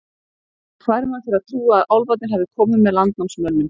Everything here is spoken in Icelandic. Og fær mann til að trúa að álfarnir hafi komið með landnámsmönnum.